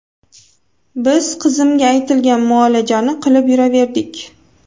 Biz qizimga aytilgan muolajani qilib yuraverdik.